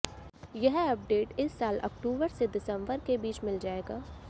यह अपडेट इस साल अक्टूबर से दिसम्बर के बीच मिल जाएगा